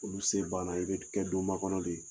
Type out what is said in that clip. Olu sen bana i bɛ kɛ don makɔnɔ de ye